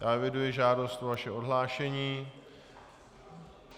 Já eviduji žádost o vaše odhlášení.